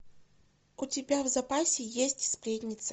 у тебя в запасе есть сплетница